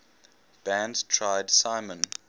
band tried simon